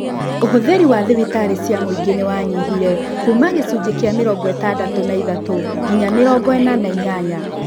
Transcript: ũhũthĩri wa thibitarĩ cia mũingĩ nĩwanyihire kuuma gĩcunjĩ kĩa mĩrongo ĩtandatũ na ithatũ nginya mĩrongo ĩna na inyanya